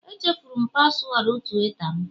Echefuru m paswọọdụ Tuweeta m